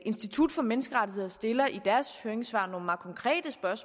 institut for menneskerettigheder stiller i deres høringssvar